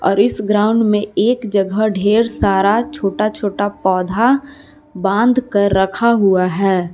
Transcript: इस ग्राउंड में एक जगह ढेर सारा छोटा छोटा पौधा बांधकर रखा हुआ है।